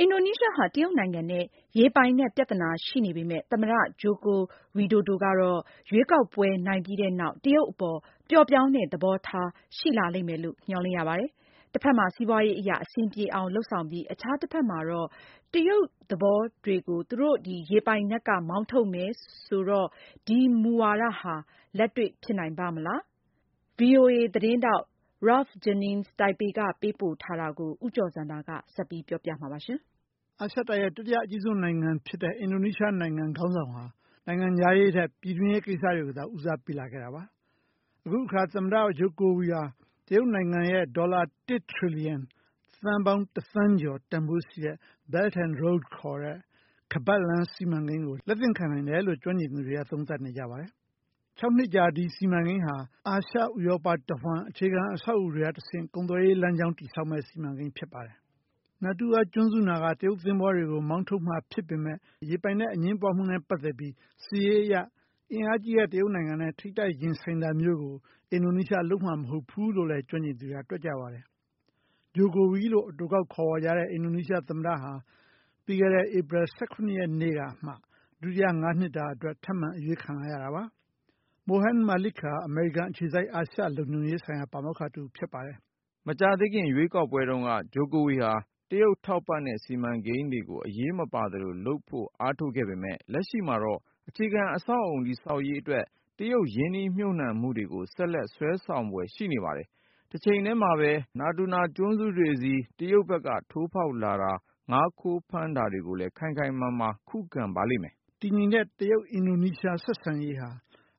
အင်ဒိုနီးရှားဟာ တရုတ်နိုင်ငံနဲ့ ရေပိုင်နက် ပြဿနာ ရှိနေပေမဲ့ သမ္မတ Joko Widodo ကတော့ရွေးကောက်ပွဲ နိုင်ပြီးတဲ့နောက် တရုတ်အပေါ် ပျော့ပျောင်းတဲ့ သဘောထား ထားရှိလာလိမ့်မယ်လို့ မျှော်လင့်ရပါတယ်။ တဘက်မှာ စီးပွါးရေးအရ အဆင်ပြေအောင် လုပ်ဆောင်ပြီး အခြားတဘက်မှာတော့ တရုတ်သင်္ဘောတွေကို သူတို့ရေပိုင်နက်က မောင်းထုတ်မယ် ဆိုတော့ ဒီမူဝါဒဟာ လက်တွေ့ဖြစ်နိုင်ပါ့မလား။ VOA သတင်းထောက် Ralph Jennings တိုင်ပေ ကပေးပို့ ထားတဲ့ သတင်းကို ဦးကျော်ဇံသာက ပြောပြပေးမှာပါ။ အာရှတိုက်ရဲ့ တတိယအကြီးဆုံး နိုင်ငံ ဖြစ်တဲ့ အင်ဒိုနီးရှား နိုင်ငံ ခေါင်းဆောင်က နိုင်ငံခြားရေးထက် ပြည်တွင်းရေး ကိစ္စတွေကိုသာ ဦးစားပေးလာခဲ့တာပါ။ အခုအခါ သမ္မတ Jokowi ဟာ တရုတ်နိုင်ငံရဲ့ ဒေါ်လာ ၁ ထရီလီယံ သန်းပေါင်း ၁ သန်းကျော် တန်ဖိုးရှိတဲ့ Belt and Road ခေါ်တဲ့ ခါးပတ်လမ်း စီမံကိန်းကို လက်သင့်ခံနိုင်တယ်လို့ ကျွမ်းကျင်သူတွေက သုံးသပ်နေကြပါတယ်။ ၆ နှစ်ကြာ ဒီစီကိန်းဟာ အာရှ၊ ဥရောပ တဝန်း အခြေခံ အဆောက်အဦတွေက တဆင့် ကုန်သွယ်ရေး လမ်းကြောင်း တည်ဆောက်မယ့် စီမံကိန်း ဖြစ်ပါတယ်။ Natuna ကျွန်းစုနားက တရုတ် သဘောၤတွေကို မောင်းထုတ်မှာ ဖြစ်ပေမယ့် ရေပိုင်နက် အငြင်းပွားမှုနဲ့ ပတ်သက်ပြီး စစ်ရေးအရ အင်အားကြီးတဲ့ တရုတ်နိုင်ငံနဲ့ ထိပ်တိုက်ရင်ဆိုင်တာမျိုးကို အင်ဒိုနီးရှား လုပ်မှာမဟုတ်ဘူးလို့လည်း ကျွမ်းကျင်သူတွေက တွက်ကြပါတယ်။ ဂျိုကိုဝီ လို့ အတိုကောက်ခေါ်ဝေါ်ကြတဲ့ အင်ဒိုနီးရှား သမ္မတဟာ ပြီးခဲ့တဲ့ ဧပြီ ၁၇ ရက်နေ့ကမှ ဒုတိယ ၅ နှစ်တာ အတွက် ထပ်မံ အရွေးခံလိုက်ရတာပါ။ Mohan Malik ဟာ အမေရိကန် အခြေစိုက် အာရှ လုံခြုံရေးဆိုင်ရာ ပါမောက္ခတဦး ဖြစ်ပါတယ်။ “ မကြာသေးခင် ရွေးကောက်ပွဲတုန်းက Jokowi ဟာ တရုတ်ထောက်ပံ့တဲ့ စီမံကိန်းတွေကို အရေးမပါသလို လုပ်ဖို့ အားထုတ်ခဲ့ပေမဲ့ လက်ရှိမှာတော့ အခြေခံ အဆောက်အအုံ တည်ဆောက်ရေး အတွက် တရုတ်ရင်းနှီးမြှုပ်နှံမှု တွေကို ဆက်လက်စွဲဆောင်ဖွယ် ရှိနေပါတယ်။ တချိန်တည်းမှာပဲ Natuna ကျွန်းစုတွေဆီ တရုတ်ဘက်က ထိုးဖောက်လာတာ ငါးခိုးဖမ်းတာတွေကိုလဲ ခိုင်ခိုင်မာမာ ခုခံပါလိမ့်မယ်။” တည်ငြိမ်တဲ့ တရုတ် အင်ဒိုနီးရှား ဆက်ဆံရေးဟာ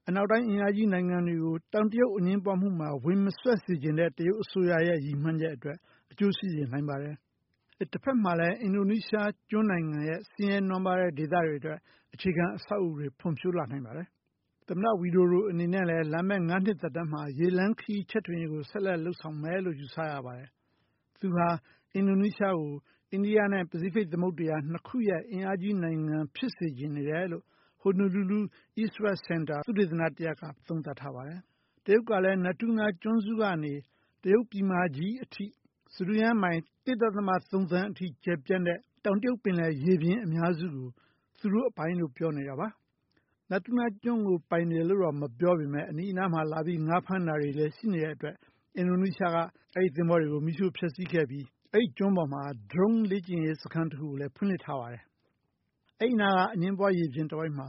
အနောက်တိုင်း အင်အားကြီး နိုင်ငံတွေကို တောင်တရုတ် အငြင်းပွားမှုမှာ ဝင်မစွက်စေချင်တဲ့ တရုတ် အစိုးရရဲ့ ရည်မှန်းချက် အတွက် အကျိုးရှိစေနိုင်ပါတယ်။ တဖက်မှာလည်း အင်ဒိုနီးရှား ကျွန်းနိုင်ငံရဲ့ ဆင်းရဲနွမ်းပါးတဲ့ ဒေသတွေ အတွက် အခြေခံ အဆောက်အဦတွေ ဖွံ့ဖြိုးလာနိုင်ပါတယ်။ သမ္မတ ဝီဒိုဒို အနေနဲ့လည်း လာမယ့် ၅ နှစ်တာ သက်တမ်းမှာ ရေလမ်းခရီး ချဲ့ထွင်မှုကို လုပ်ဆောင်မယ်လို့ ယူဆရပါတယ်။ သူဟာ အင်ဒိုနီးရှားကို အိန္ဒိယနဲ့ ပစိဖိတ် သမုဒ္ဒရာ နှစ်ခုရဲ့ အင်အားကြီး နိုင်ငံ ဖြစ်စေချင်နေတယ်လို့ ဟိုနိုလူလူ East – West စင်တာ သုတေသန တရပ်က သုံးသပ်ထားပါတယ်။ တရုတ်ကလည်း Natuna ကျွန်းစုကနေ တရုတ်ပြည်မကြီး အထိ စတုရန်းမိုင် ၁ ဒသမ ၃ သန်းထိ ကျယ်ပြန့်တဲ့ တောင်တရုတ်ပင်လယ် ရေပြင် အများစုကို သူတို့ ပိုင်လို့ ပြောနေတာပါ။ Natuna ကျွန်းကို ပိုင်တယ်လို့တော့ မပြောပေမယ့် အနီးအနားမှာလာပြီး ငါးဖမ်းတာတွေလည်း ရှိနေတဲ့ အတွက် အင်ဒိုနီးရှားက အဲဒီ သဘောၤတွေကို မီးရှို့ ဖျက်စီးခဲ့ပြီး အဲဒီ ကျွန်းပေးမှာ ဒရုန်းလေ့ကျင့်ရေး စခန်းတခုကိုလည်း ဖွင့်လှစ်ထားပါတယ်။ အဲဒီနားက အငြင်းပွား ရေပြင်တဝိုက်မှာ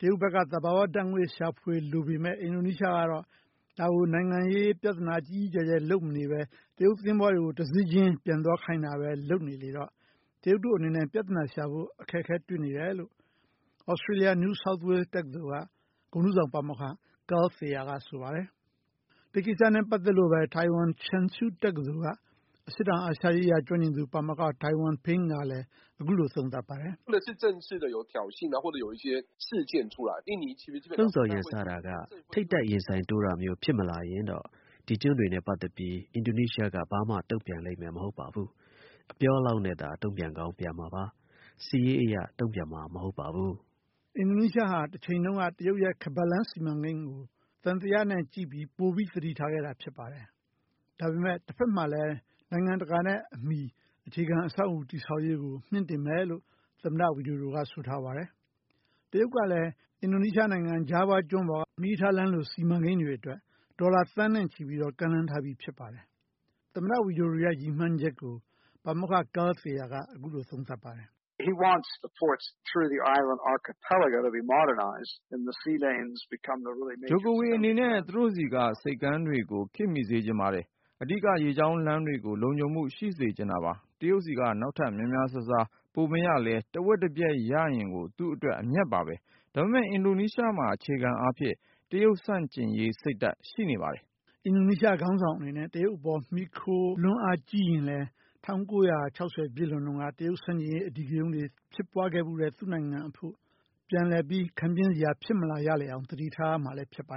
တရုတ်ဘက်က သဘာ၀ ဓာတ်ငွေ့ရှာဖွေ လိုပေမယ့် အင်ဒိုနီးရှားကတော့ ဒါကို နိုင်ငံရေး ပြသနာ ကြီးကြီးကျယ်ကျယ် လုပ်မနေဘဲ တရုတ်သဘောၤတွေကို တစီးချင်း ပြန်သွားခိုင်းတာဘဲ လုပ်နေတော့ တရုတ်တို့ အနေနဲ့ ပြသနာရှာဖို့ အခက်အခဲတွေ့နေတယ်လို့ သြစတေးလျ New South Wales တက္ကသိုလ်က ဂုဏ်ထူးဆောင် ပါမောက္ခ Carl Thayer က ဆိုပါတယ်။ ဒီကိစ္စနဲ့ ပတ်သက်လို့ဘဲ ထိုင်ဝမ် Cheng Shiu တက္ကသိုလ်က အရှေ့တောင်အာရှ ရေးရာ ကျွမ်းကျင်သူ ပါမောက္ခ Tai Wan-ping ကလည်း အခုလို သုံးသပ်ပါတယ်။ “ လှုံ့ဆော်ရန်စတာက ထိပ်တိုက်ရင်ဆိုင်တိုးတာမျိုး ဖြစ်မလာရင်တော့ ဒီကျွန်းတွေနဲ့ ပတ်သက်ပြီး အင်ဒိုနီးရှားက ဘာမှ တုံ့ပြန်လိမ့်မယ် မဟုတ်ပါဘူး။ အပြောလောက်နဲ့သာ တုံ့ပြန်ကောင်း ပြန်မှာပါ။ စစ်ရေးအရ တုံ့ပြန်မှာ မဟုတ်ပါဘူး။” အင်ဒိုနီးရှားဟာ တချိန်တုန်းက တရုတ်ရဲ့ ခါးပတ်လမ်း စီမံကိန်းကို သံသယနဲ့ကြည့်ပြီး ပိုပြီး သတိထားခဲ့တာ ဖြစ်ပါတယ်။ ဒါပေမယ့် တဖက်မှာလည်း နိုင်ငံတကာနဲ့ အမီ အခြေခံ အဆောက်အဦ တည်ဆောက်ရေးကို မြှင့်တင်မယ်လို့ သမ္မတ ဝီဒိုဒိုက ဆိုထားပါတယ်။ တရုတ်ကလည်း အင်ဒိုနီးရှား နိုင်ငံ ဂျာဗား ကျွန်းပေါ် မီးရထားလမ်းလို စီမံကိန်းတွေအတွက် ဒေါ်လာ သန်းနဲ့ချီပြီးတော့ ကမ်းလှမ်း ထားပြီး ဖြစ်ပါတယ်။ သမ္မတ ဝီဒိုဒိုရဲ့ ရည်မှန်းချက်ကို ပါမောက္ခ Carl Thayer က အခုလို သုံးသပ်ပါတယ်။ “ ဂျိုကိုဝီ အနေနဲ့ သူတို့ဆီက ဆိပ်ကမ်းတွေကို ခေတ်မီစေချင်တယ်၊ အဓိက ရေကြောင်းလမ်းတွေကို လုံခြုံမှုရှိစေချင်တယ်။ တရုတ်ဆီက နောက်ထပ် များများစားစား ပိုမရလဲ တဝက်တပျက်ရရင်ကို သူ့အတွက် အမြတ်ပါဘဲ။ ဒါပေမယ့် အင်ဒိုနီးရှားမှာ အခြေခံ အားဖြင့် တရုတ် ဆန့်ကျင်ရေး စိတ်ဓာတ် ရှိနေပါတယ်။ ” အင်ဒိုနီးရှား ခေါင်းဆောင် အနေနဲ့ တရုတ် အပေါ် မီခိုလွန်း အားကြီးရင်လည်း ၁၉၆၀ ပြည့်လွန်တုန်းက တရုတ်ဆန့်ကျင်ရေး အဓိကရုဏ်းတွေ ဖြစ်ပွားခဲ့ဖူးတဲ့ သူ့နိုင်ငံ အဖို့ ပြန်လည်ပြီး ခံပြင်းစရာ ဖြစ်မလာရလေအောင် သတိထားရမှာလည်း ဖြစ်ပါ